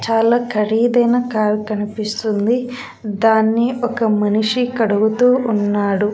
చాలా ఖరీదు అయిన కార్ కనిపిస్తుంది దాన్నీ ఒక మనిషి కడుగుతూ ఉన్నాడు.